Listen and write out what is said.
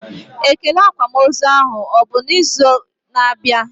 Ekele akwamozu ahụ abụ na izu na abịa?